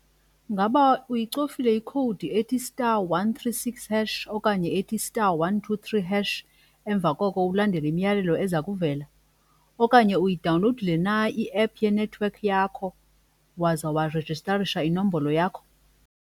Ngaba uyicofile i-code ethi star one three six hash okanye ethi star one two three hash emva koko ulandele imiyalelo eza kuvela? Okanye uyidawunlowudile na iephu yenethiwekhi yakho waza warejistarisha inombolo yakho?